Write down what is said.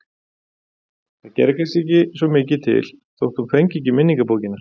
Það gerði kannski ekki svo mikið til þó að hún fengi ekki minningabókina.